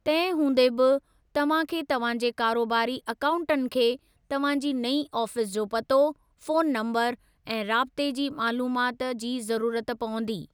तंहिं हूंदे बि, तव्हां खे तव्हां जे कारोबारी अकाउन्टनि खे तव्हां जी नईं आफ़ीस जो पतो, फ़ोनु नम्बरु, ऐं राब्ते जी मालूमात जी ज़रूरत पवंदी।